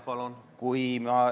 Palun!